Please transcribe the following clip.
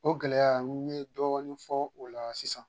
O gɛlɛya n ye dɔɔnin fɔ o la sisan.